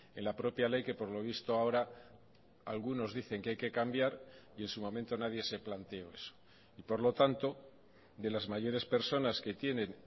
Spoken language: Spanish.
en la propia ley que por lo visto ahora algunos dicen que hay que cambiar y en su momento nadie se planteó eso y por lo tanto de las mayores personas que tienen